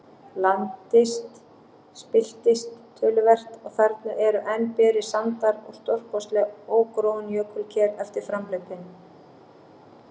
Landist spilltist töluvert, og þarna eru enn berir sandar og stórkostleg ógróin jökulker eftir framhlaupin.